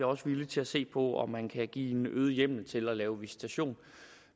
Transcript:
også villige til at se på om man kan give en øget hjemmel til at lave visitation